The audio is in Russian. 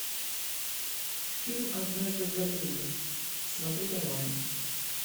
фильм однажды в голливуде смотреть онлайн